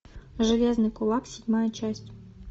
железный кулак седьмая часть